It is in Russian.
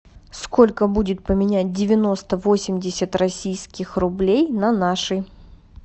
сколько будет поменять девяносто восемьдесят российских рублей на наши